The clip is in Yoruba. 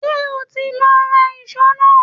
Ṣé o ti lọ ra ìṣó náà?